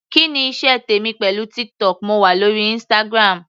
Kí ni iṣẹ́ tèmi pẹ̀lú TikTok, mo wà lórí Instagram.